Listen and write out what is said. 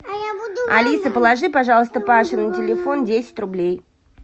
алиса положи пожалуйста паше на телефон десять рублей